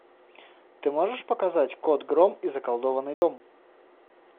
ты можешь показать кот гром и заколдованный дом